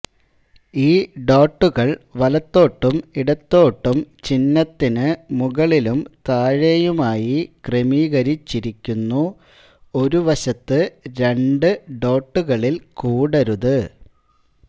ഈ ഡോട്ടുകൾ വലത്തോട്ടും ഇടത്തോട്ടും ചിഹ്നത്തിന് മുകളിലും താഴെയുമായി ക്രമീകരിച്ചിരിക്കുന്നു ഒരു വശത്ത് രണ്ട് ഡോട്ടുകളിൽ കൂടരുത്